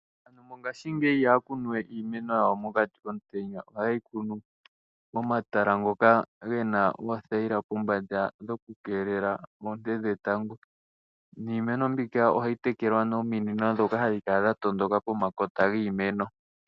Aantu mongaashingeyi iha ya kunu we iineno yawo mokati komutenya. Oha ye yi kunu momatala ngoka ge na othayila pombanda dho ku keelela oonte dhetango, niimeno mbika oha yi tekelwa nominino ndhoka ha dhi kala dha tondoka pomakota giimeno.